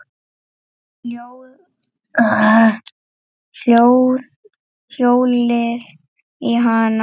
Hjólið í hana.